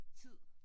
Tid